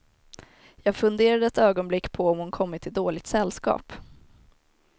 Jag funderade ett ögonblick på om hon kommit i dåligt sällskap.